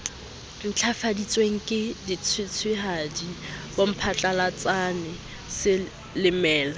ntlafaditsweng ke dishweshwehadi bomphatlalatsane selemela